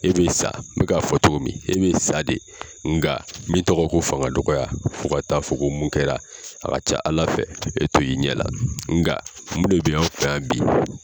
E bɛ sa n b k'a fɔ cogo min, e bɛ sa de, nka min tɔgɔ ye ko fanga dɔgɔya fɔ ka taa fɔ mun kɛra, a ka ca Ala fɛ, e t'o ye i ɲɛn la, nka mun de bɛ aw fɛ yan bi!